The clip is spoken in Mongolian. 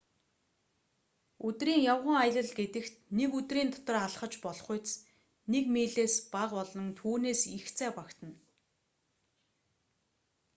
өдрийн явган аялал гэдэгт нэг өдрийн дотор алхаж болохуйц нэг милээс бага болон түүнээс их зай багтана